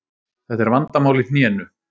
Þetta er vandamál í hnénu.